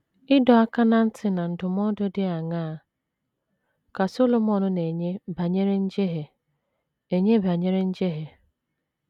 Ịdọ aka ná ntị na ndụmọdụ dị aṅaa ka Solomọn na - enye banyere njehie enye banyere njehie?